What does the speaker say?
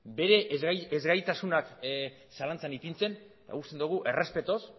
bere ezgaitasunak zalantzan ipintzen uste dugu errespetuz